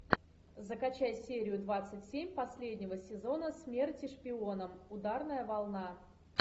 закачай серию двадцать семь последнего сезона смерти шпионам ударная волна